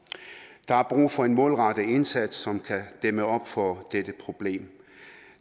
der er brug for en målrettet indsats som kan dæmme op for dette problem